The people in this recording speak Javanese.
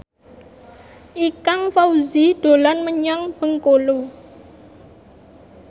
Ikang Fawzi dolan menyang Bengkulu